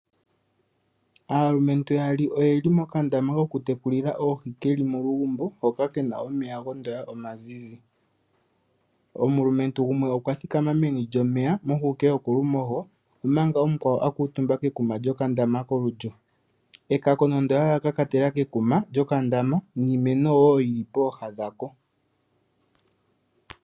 Aalumentu yaali oyeli mokandama koku tekulila oohi keli molugumbo hoka kena omeya gondoya omazizi. Omulumentu gumwe okwa thikama meni lyomeya mohuke yokolumoho omanga omukwawo akuutumba kekuma lyokandama kolulyo, ekako nande ola kakatela kekuma lyokandama niimeno wo yili pooha dhako.